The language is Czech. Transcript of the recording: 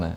Ne.